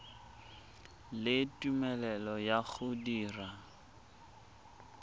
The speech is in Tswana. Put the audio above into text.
le tumelelo ya go dira